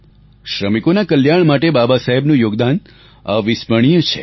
શ્રમિકોના કલ્યાણ માટે બાબા સાહેબનું યોગદાન અવિસ્મરણીય છે